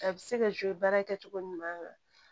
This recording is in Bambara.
A bɛ se ka joli baara kɛ cogo ɲuman